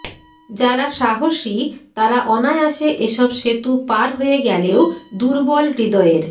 যারা সাহসী তারা অনায়াসে এসব সেতু পার হয়ে গেলেও দুর্বল হৃদয়ের